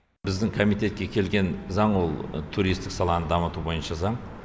біздің комитетке келген заң ол туристік саланы дамыту бойынша заң